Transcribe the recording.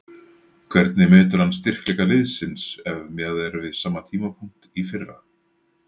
Hvernig metur hann styrkleika liðsins ef miðað er við sama tímapunkt í fyrra?